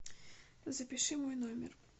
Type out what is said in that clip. запиши мой номер